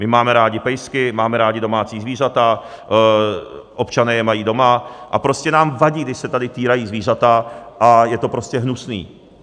My máme rádi pejsky, máme rádi domácí zvířata, občané je mají doma a prostě nám vadí, když se tady týrají zvířata, a je to prostě hnusné.